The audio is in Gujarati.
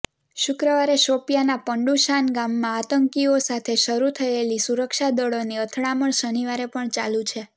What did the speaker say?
શુક્રવારે શોપિયાના પંડુશાન ગામમાં આતંકીઓ સાથે શરૂ થયેલી સુરક્ષાદૃળોની અથડામણ શનિવારે પણ ચાલુ છે